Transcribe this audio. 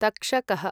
तक्षकः